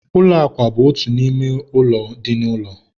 ụlọ akwa bụ otu n'ime ọnụ ụlọ dị n'ụlọ.